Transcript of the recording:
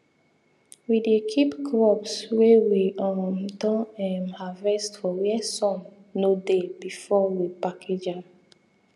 we dey keep crops wey we um don um harvest for where sun no dey before we package am